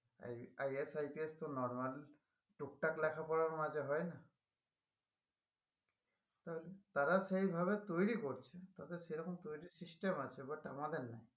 IS, IPS তো normal টুকটাক লেখাপড়ার মাঝে হয় না তাহলে তারা সেইভাবে তৈরী করছে তাদের সেরকম তৈরীর system আছে but আমাদের নাই